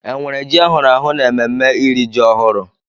Enwere ji ahụrụ ahụ n'ememme iri ji ọhụrụ?